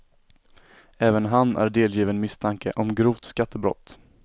Även han är delgiven misstanke om grovt skattebrott.